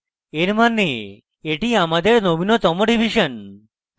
এর means এটি আমাদের নবীনতম revision